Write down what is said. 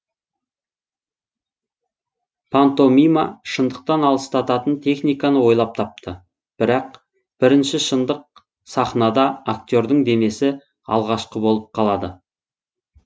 пантомима шындықтан алыстататын техниканы ойлап тапты бірақ бірінші шындық сахнада актердың денесі алғашқы болып қалады